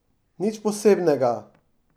Nič posebnega.